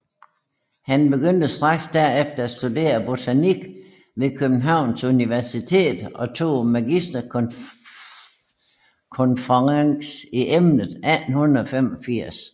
Han begyndte straks derefter at studere botanik ved Københavns Universitet og tog magisterkonferens i emnet i 1885